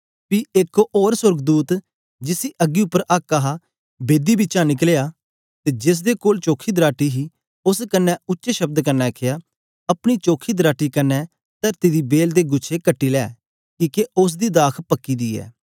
पी एक ते सोर्गदूत जिसी अग्गी उपर आक्क हा बेदी बिचा निकलया ते जेसदे कोल चोखी दराटी हे उस्स कन्ने उच्चे शब्द कन्ने आखया अपनी चोखी दराटी कन्ने तरती दी बेल दे गुछे कटी ले किके उस्स दी दाख पकी दी ऐ